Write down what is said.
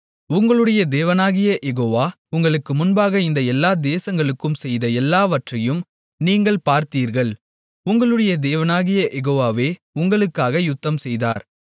உங்களுடைய தேவனாகிய யெகோவா உங்களுக்கு முன்பாக இந்த எல்லா தேசங்களுக்கும் செய்த எல்லாவற்றையும் நீங்கள் பார்த்தீர்கள் உங்களுடைய தேவனாகிய யெகோவாவே உங்களுக்காக யுத்தம்செய்தார்